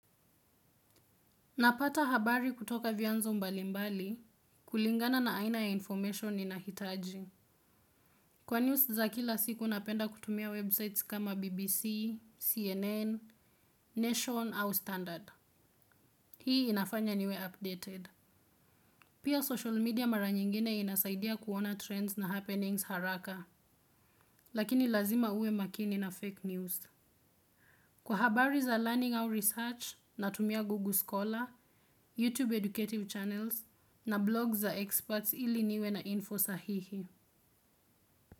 Napata habari kutoka vianzo mbalimbali, kulingana na aina ya information ninahitaji. Kwa news za kila siku napenda kutumia websites kama BBC, CNN, Nation au Standard. Hii inafanya niwe updated. Pia social media mara nyingine inasaidia kuona trends na happenings haraka, lakini lazima uwe makini na fake news. Kwa habari za learning au research na tumia Google Scholar, YouTube Educative Channels na blogs za experts ili niwe na info sahihi.